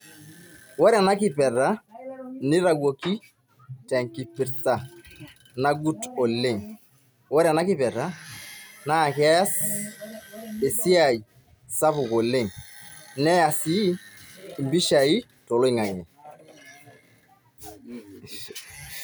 Wore ena kiperta, nitayioki tenkipirsa nagut oleng'. Wore ena kiperta naa keas, esiai sapuk oleng'. Neya sii impishai toloingange.